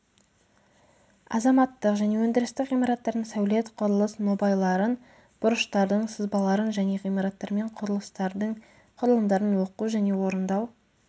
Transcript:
азаматтық және өндірістік ғимараттардың сәулет құрылыс нобайларын бұрыштардың сызбаларын және ғимараттармен құрылыстардың құрылымдарын оқу және орындау